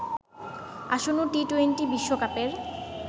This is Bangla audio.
আসন্ন টি টোয়েন্টি বিশ্বকাপের